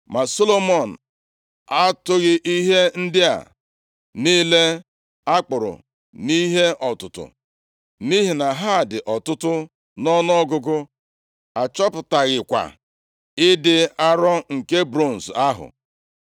Ma Solomọn atụghị ihe ndị a niile a kpụrụ nʼihe ọtụtụ, nʼihi na ha dị ọtụtụ nʼọnụọgụgụ, achọpụtaghịkwa ịdị arọ nke bronz ahụ.